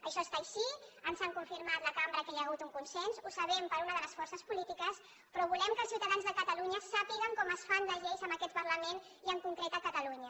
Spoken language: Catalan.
això està així ens han confirmat a la cambra que hi ha hagut un consens ho sabem per una de les forces polítiques però volem que els ciutadans de catalunya sàpiguen com es fan les lleis en aquest parlament i en concret a catalunya